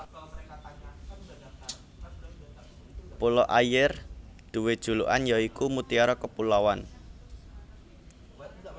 Pulo Ayer duwé julukan ya iku Mutiara Kepulauan